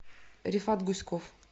рифат гуськов